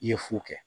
I ye fu kɛ